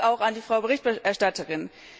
Vielen Dank an die Frau Berichterstatterin!